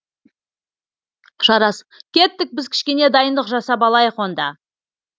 жарас кеттік біз кішкене дайындық жасап алайық онда